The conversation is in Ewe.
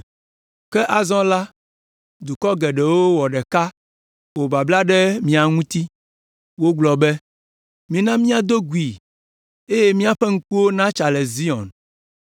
Ke azɔ la, dukɔ geɖewo wɔ ɖeka wɔ babla ɖe mia ŋuti; Wogblɔ be: “Mina míado gui eye míaƒe ŋkuwo natsa le Zion.”